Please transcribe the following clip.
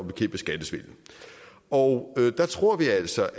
bekæmpe skattesvindel og der tror vi altså